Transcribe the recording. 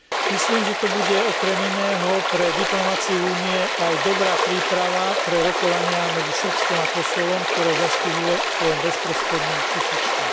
Myslím, že to bude okrem iného pre diplomaciu Únie aj dobrá príprava pre rokovania medzi Srbskom a Kosovom, ktoré zastihuje vo svojom bezprostrednom susedstve.